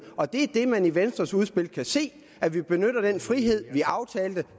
og det er det man i venstres udspil kan se at vi benytter den frihed vi aftalte